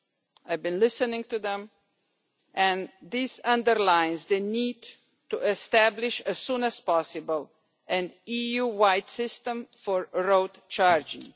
I have been listening to them and this underlines the need to establish, as soon as possible, an EU wide system for road charging.